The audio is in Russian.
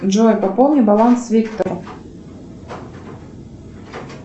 джой пополни баланс виктору